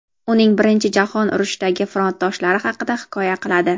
uning Birinchi jahon urushidagi frontdoshlari haqida hikoya qiladi.